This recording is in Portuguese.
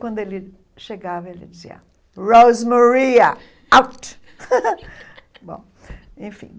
Quando ele chegava, ele dizia, Rosemaria, out! Bom enfim